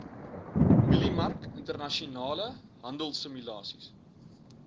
mieliemark internasionale handelsimulasies